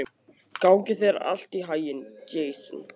Gangi þér allt í haginn, Jason.